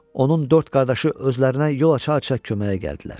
Onun dörd qardaşı özlərinə yol aça-aça köməyə gəldilər.